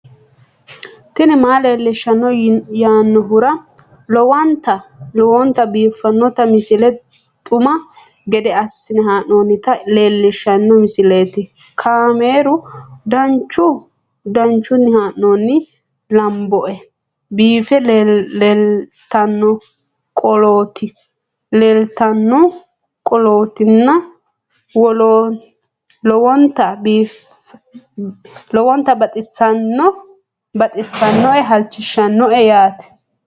tini maa leelishshanno yaannohura lowonta biiffanota misile xuma gede assine haa'noonnita leellishshanno misileeti kaameru danchunni haa'noonni lamboe biiffe leeeltannoqolten lowonta baxissannoe halchishshanno yaate